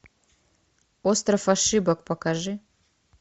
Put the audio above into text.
остров ошибок покажи